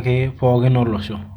apple.